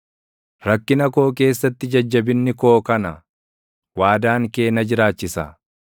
Rakkina koo keessatti jajjabinni koo kana: Waadaan kee na jiraachisa.